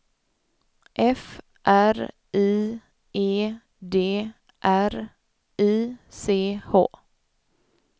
F R I E D R I C H